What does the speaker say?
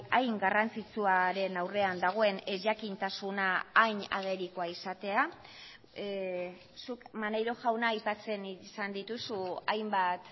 hain garrantzitsuaren aurrean dagoen ezjakintasuna hain agerikoa izatea zuk maneiro jauna aipatzen izan dituzu hainbat